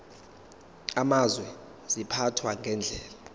amazwe ziphathwa ngendlela